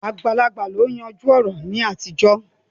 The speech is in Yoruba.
Àgbàlagbà ni ó ń yanjú ọ̀rọ̀ ní àtijọ́